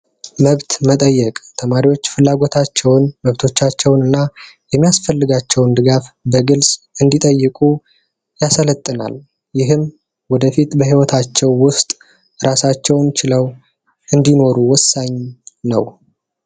መብት መጠየቅ ተማሪዎች መብቶቻቸውን እና የሚያስፈልጋቸውን ድጋፍ በግልጽ እንዲጠይቁ ያሰለጥናል ይህም ወደፊት በህይወታቸው ውስጥ ራሳቸውን ችለው እንዲኖሩ ወሳኝ ነው።